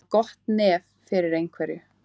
Að hafa gott nef fyrir einhverju